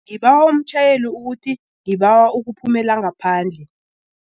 Ngibawa umtjhayeli ukuthi ngibawa ukuphumela ngaphandle.